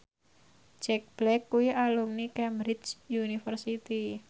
Jack Black kuwi alumni Cambridge University